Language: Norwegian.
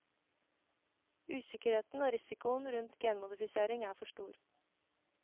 Usikkerheten og risikoen rundt genmodifisering er for stor.